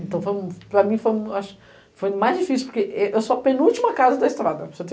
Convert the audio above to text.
Então, para mim foi o mais difícil, porque eu sou a penúltima casa da estrada.